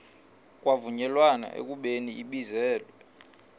kwavunyelwana ekubeni ibizelwe